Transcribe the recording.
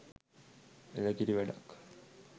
එළ කිරි වැඩක්